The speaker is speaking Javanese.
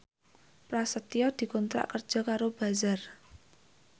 Prasetyo dikontrak kerja karo Bazaar